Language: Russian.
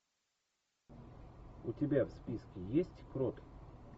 у тебя в списке есть крот